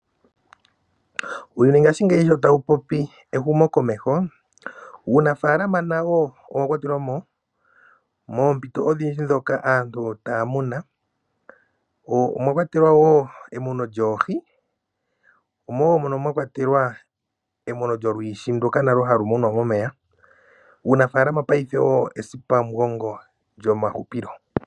Uuyuni ngashingeyi shi tawu popi ehumokomeho uunafaalama nawo owakwatelwa mo. Moompito odhindji ndhoka aantu taya muna omwakwatelwa wo emuno lyoohi omo wo mwakwatelwa emuno lyolwiishi nduka nalwo halumunwa momeya. Uunafaalama nawo paife ethipamugongo lyomahupilo.